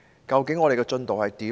究竟我們的進度如何？